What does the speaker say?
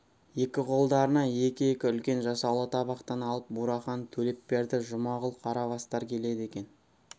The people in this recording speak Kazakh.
екі қолдарына екі-екі үлкен жасаулы табақтан алып бурахан төлепберді жұмағұл қарабастар келеді екен